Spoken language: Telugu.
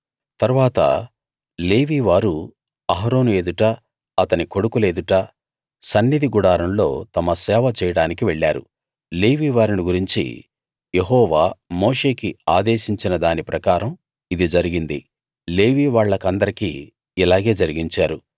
తరువాత లేవీ వారు అహరోను ఎదుటా అతని కొడుకుల ఎదుటా సన్నిధి గుడారంలో తమ సేవ చేయడానికి వెళ్ళారు లేవీ వారిని గురించి యెహోవా మోషేకి ఆదేశించిన దాని ప్రకారం ఇది జరిగింది లేవీ వాళ్లకందరికీ ఇలాగే జరిగించారు